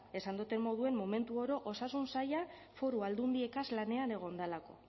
esan dudan moduan momentu oro osasun saila foru aldundiegaz lanean egon delako